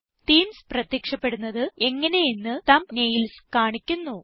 themes പ്രത്യക്ഷപ്പെടുന്നത് എങ്ങനെ എന്ന് തംബ്നെയിൽസ് കാണിക്കുന്നു